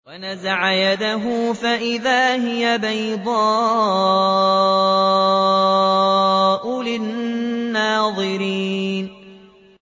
وَنَزَعَ يَدَهُ فَإِذَا هِيَ بَيْضَاءُ لِلنَّاظِرِينَ